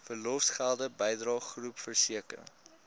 verlofgelde bydrae groepversekering